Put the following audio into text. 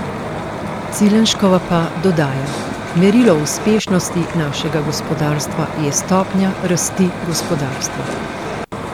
Cilenškova pa dodaja: ''Merilo uspešnosti našega gospodarstva je stopnja rasti gospodarstva.